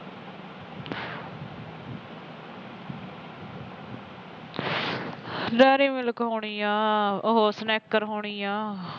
dairy milk ਹੋਣੀ ਆ ਉਹ snacker ਹੋਣੀ ਐ